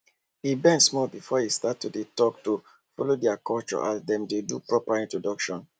him bend small before he start to dey talkto follow their culture as dem dey do proper introduction